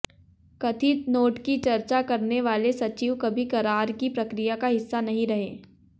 कथित नोट की चर्चा करने वाले सचिव कभी करार की प्रक्रिया का हिस्सा नहीं रहे